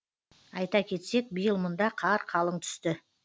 айта кетсек биыл мұнда қар қалың түсті